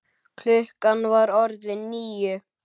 Klukkan var orðin níu.